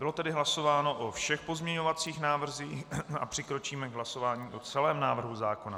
Bylo tedy hlasováno o všech pozměňovacích návrzích a přikročíme k hlasování o celém návrhu zákona.